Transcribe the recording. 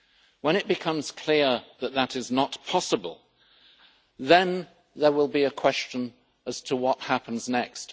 When it becomes clear that that is not possible, then there will be a question as to what happens next.